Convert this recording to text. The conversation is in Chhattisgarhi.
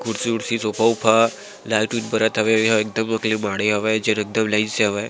कुर्सी उर्सी सोफे उफ़ा लाइट उइट बरत हवे अउ एहा एकदम अक ले माढ़े हावय --